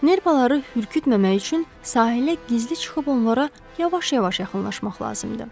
Nerpaları hürkütməmək üçün sahilə gizli çıxıb onlara yavaş-yavaş yaxınlaşmaq lazımdır.